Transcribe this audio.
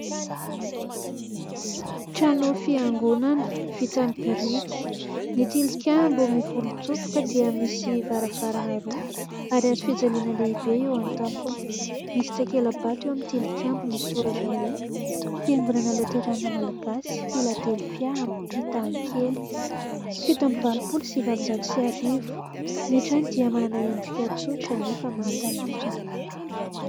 Trano fiangonana vita amin'ny biriky. Ny tilikambo mivolontsofoka dia misy varavarana roa ary hazofijaliana lehibe eo an-tampony. Misy takela-bato eo amin'ny tilikambo misy soratra hoe : "Fiangonana Loteriana Malagasy Filadelfia Ampitakely fito amby valopolo sy valonjato sy arivo" . Ny trano dia manana endrika tsotra anefa mahatalanjona.